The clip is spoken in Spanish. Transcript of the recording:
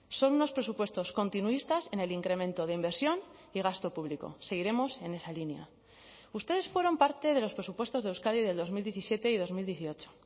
son unos presupuestos continuistas en el incremento de inversión y gasto público seguiremos en esa línea ustedes fueron parte de los presupuestos de euskadi del dos mil diecisiete y dos mil dieciocho